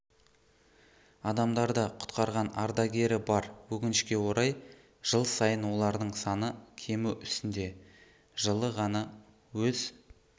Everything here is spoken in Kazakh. адамдарды құтқарған ардагері бар өкінішке орай жыл сайын олардың саны кему үстінде жылы ғана өз